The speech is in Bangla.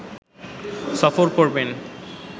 সফর করবেন